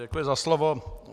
Děkuji za slovo.